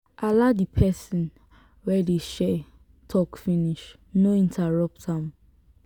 allow di person wey dey share talk finish no interrupt am